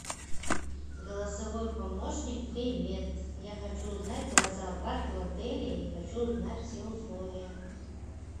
голосовой помощник привет я хочу узнать про зоопарк в отеле и хочу узнать все условия